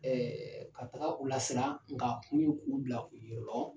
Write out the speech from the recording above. ka taga u lasiran nka a kun ye k'u bila u yɛrɛ lɔn